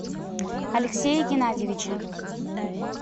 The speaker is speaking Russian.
алексея геннадьевича